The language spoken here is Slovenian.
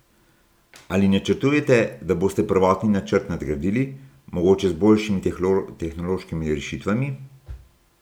Ali načrtujete, da boste prvotni načrt nadgradili, mogoče z boljšimi tehnološkimi rešitvami?